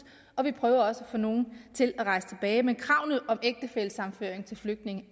og vi prøver også at få nogle af dem til at rejse tilbage men kravet om ægtefællesammenføring til flygtninge